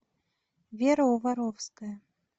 вера воровская